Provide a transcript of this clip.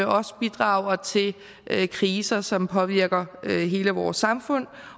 også bidrager til kriser som påvirker hele vores samfund